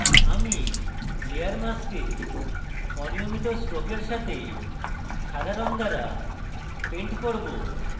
আমি layer mask অনিয়মিত strokes সাথে সাদা রঙ দ্বারা paint করব